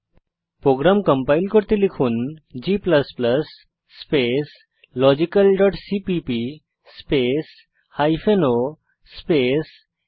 programme compile করতে লিখুন g space logical dot CPP space o space লগ1